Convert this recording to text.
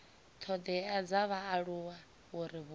thodea dza vhaaluwa uri vhupo